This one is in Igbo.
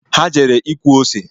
Ha jere ịkụ ose